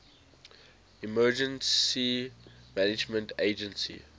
emergency management agency